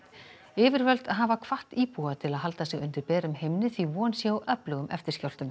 yfirvöld hafa hvatt íbúa til að halda sig undir berum himni því von sé á öflugum